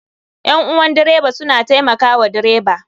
Ƴan uwan dreba suna taimaka wa dreba